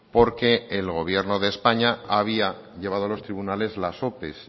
porque el gobierno de españa había llevado a los tribunales las ope